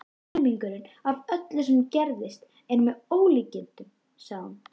Helmingurinn af öllu sem gerist er með ólíkindum, sagði hún.